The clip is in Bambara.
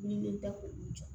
Min bɛ da k'olu jɔ